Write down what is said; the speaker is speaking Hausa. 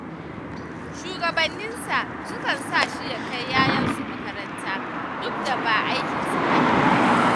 Shugabanninsa sukan sa shi ya kai 'ya'yansu makaranta, duk da ba aikinsa ba ne.